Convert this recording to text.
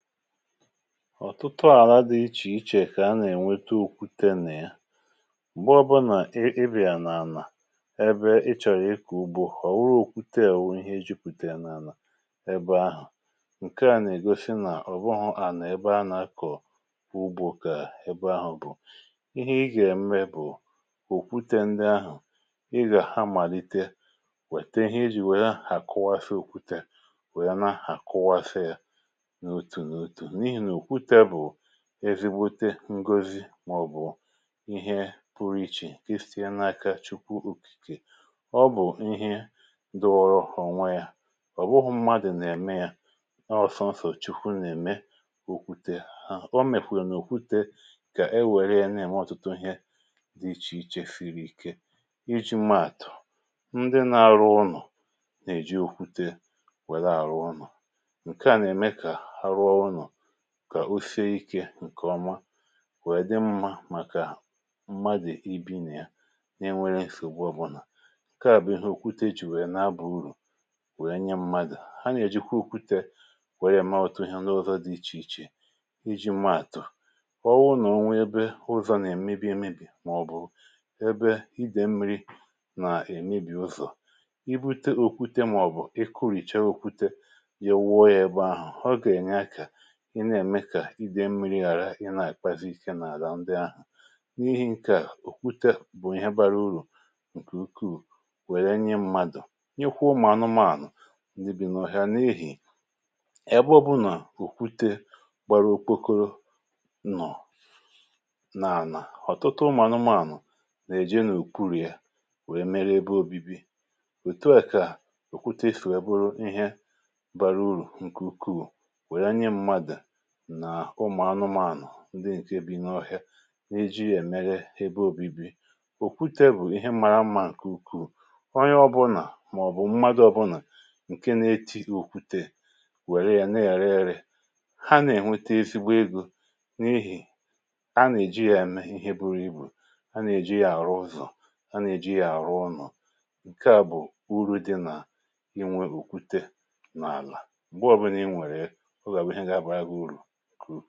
ọ̀tụtụ àlà dị̇ iche iche kà a nà-ènweta òkwute nà ya, m̀gbe ọbụlà ị bịa n’ànà ebe ịchọ̀rị̀ ịkò ugbȯ, ọ̀ wụrụ òkwute èwu ihe, i jupùtè n’ànà ebe ahụ̀, ǹkè à nà-ègosi nà ọ̀ bụghụ̇ ànà ebe anakọ̀ wụbụ, kà ebe ahụ̀ bụ̀ ihe. ihe ị gà-ème bụ̀, òkwute ndị ahụ̀ ị gà-amàlite wète ihe ijì wèe ha kụwasi, òkwute wèe na-àkụwasi, ezigbute ngozi màọ̀bụ̀ ihe pụrụ iche, ifì ịnaka. chukwu ukìkè, ọ bụ̀ ihe dọ̇ọrọ ọnwa yȧ, ọ bụghụ̇ mmadụ̀ nà-ème yȧ, ọ sọnsọ̀ chukwu nà-ème, ọ mèkwà n’ùkwute kà e wère ya na-ème ọtụtụ ihe dị iche iche siri ike iji̇ maàtụ̀. ndị na-arụ unù nà-èji òkwute wèla àrụ unù ǹkè ọma wee dị mmȧ, màkà mmadụ̀ ebi̇ nà ya, na-enwere èsìlìgbụ ọbụlà. ǹkè à bụ̀ ihe òkwute jì wèe na-abọ̇ urù, wèe nye mmadụ̀. ha nà-èjikwa òkwute kwerie ma ọ̀tụ ihe ndị ọzọ dị iche iche iji̇ mẹ̀ àtụ̀. ọ wụ nà onwe ụzọ̀ nà èmebi emebì, màọ̀bụ ebe idèmmi̇ri̇ nà èmebi̇ ụzọ̀. i bute òkwute, màọ̀bụ̀ i kuru̇chė òkwute, ya wụọ yȧ ebe ahụ̀, i na-ème kà idei mmiri àrà, ị na-àkpazị ike n’àlà ndị ahụ̀. n’ihi ǹkè à, òkwute bụ̀ ihe bara urù ǹkè ukwuù, wèlè nye mmadụ̀ nyụkwụ, ụmụ̀ anụmȧnụ̀ ùsìbì nọ̀ ha n’ehì ebe ọbụnà òkwute gbara okpokoro nọ̀ nà-ànà. ọ̀tụtụ ụmụ̀ anụmȧnụ̀ nà-èje n’ùkwùrù yȧ, wèe mere ebe ȯbi̇bi̇. òtù à kà òkwutefù eboro ihe bara urù ǹkè ukwuù. ndị ǹke bụ̀ inyė ọhịȧ n’eji èmeghe ebe ȯbi̇bi̇, òkwute bụ̀ ihe mara mmȧ kà ukwu onye ọbụnà, màọ̀bụ̀ mmadụ̇ ọbụnà ǹke na-eti òkwute, wère ya na-èriri. ha nà-ènwete ezigbo egȯ, n’ihì a nà-èji ya èmeghe ihe, bụrụ ibù, a nà-èji ya àrụ ụzọ̀, a nà-èji ya àrụ ụnọ̀. ǹkè à bụ̀ uru̇ dị nà inwe òkwute n’àlà.